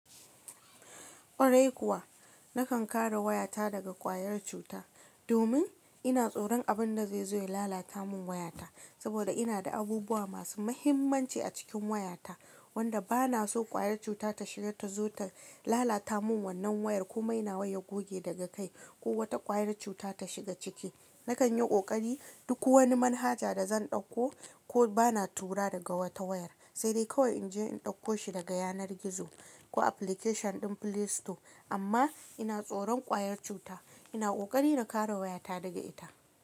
Ƙwarai kuwa, nakan kare wayata daga ƙwayar cuta domin ina tsoron abin da zai zo ya lalata mun wayata. Saboda ina da abubuwa masu muhimmanci a cikin wayata wanda bana so ƙwayar cuta ta shiga ta zo ta lalata mun wannan wayar ko mai nawa ya goge daga kai ko wata ƙwayar cuta ta shiga ciki. Nakan yi ƙoƙari duk wani manhaja da zan ɗauko ko bana tura daga wata wayar sai dai kawai in je in ɗauko shi daga yanar gizo ko application ɗin play store. Amma ina tsoron ƙwayar cuta. Ina ƙoƙari na kare wayata daga ita.